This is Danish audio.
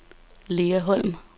Lea Holm